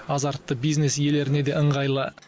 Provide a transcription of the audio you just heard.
азартты бизнес иелеріне де ыңғайлы